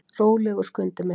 Rólegur, Skundi minn.